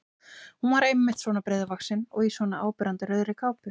Hún var einmitt svona breiðvaxin og í svona áberandi rauðri kápu!